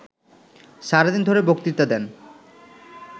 সারাদিন ধরে বক্তৃতা দেন